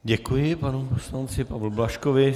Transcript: Děkuji panu poslanci Pavlu Blažkovi.